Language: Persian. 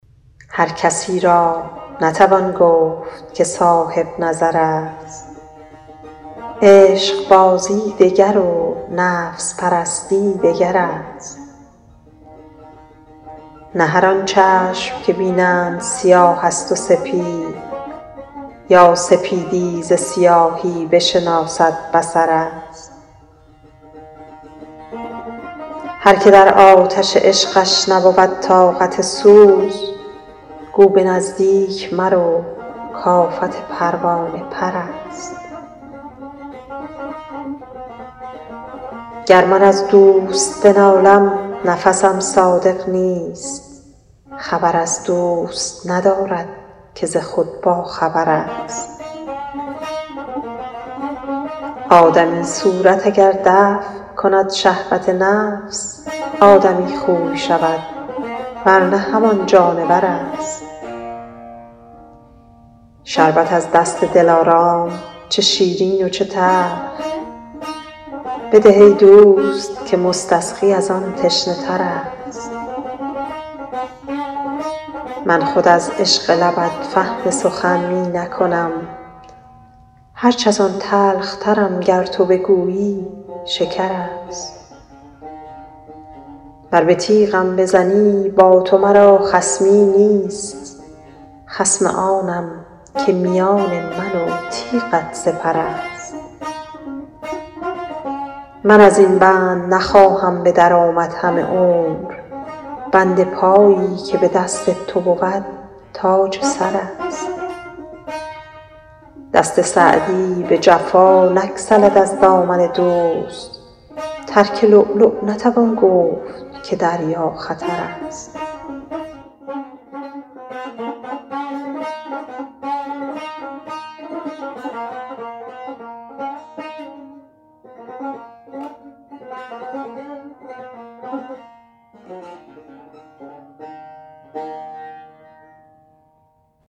هر کسی را نتوان گفت که صاحب نظر است عشقبازی دگر و نفس پرستی دگر است نه هر آن چشم که بینند سیاه است و سپید یا سپیدی ز سیاهی بشناسد بصر است هر که در آتش عشقش نبود طاقت سوز گو به نزدیک مرو کآفت پروانه پر است گر من از دوست بنالم نفسم صادق نیست خبر از دوست ندارد که ز خود باخبر است آدمی صورت اگر دفع کند شهوت نفس آدمی خوی شود ور نه همان جانور است شربت از دست دلارام چه شیرین و چه تلخ بده ای دوست که مستسقی از آن تشنه تر است من خود از عشق لبت فهم سخن می نکنم هرچ از آن تلخترم گر تو بگویی شکر است ور به تیغم بزنی با تو مرا خصمی نیست خصم آنم که میان من و تیغت سپر است من از این بند نخواهم به در آمد همه عمر بند پایی که به دست تو بود تاج سر است دست سعدی به جفا نگسلد از دامن دوست ترک لؤلؤ نتوان گفت که دریا خطر است